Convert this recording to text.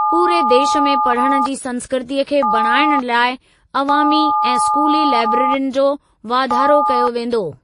पूरे देश में पढ़ण जी संस्कृतीअ खे बणाइण लाइ अवामी ऐं स्कूली लैब्रेरियुनि जो वाधारो कयो वेंदो।